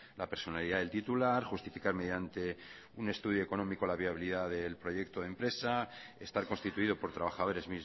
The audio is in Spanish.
la personalidad del titular justificar mediante un estudio económico la viabilidad del proyecto de empresa estar constituido por trabajadores